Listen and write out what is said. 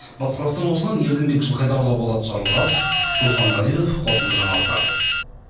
батыс қазақстан облысынан ерденбек жылқайдарұлы болат жарылғасов руслан ғазизов қорытынды жаңалықтар